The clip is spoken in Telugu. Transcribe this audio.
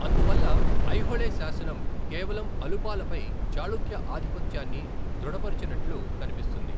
అందువల్ల ఐహోళే శాసనం కేవలం అలుపాల పై చాళుక్య ఆధిపత్యాన్ని దృఢపరచినట్లు కనిపిస్తుంది.